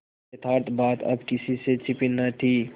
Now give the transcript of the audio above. यथार्थ बात अब किसी से छिपी न थी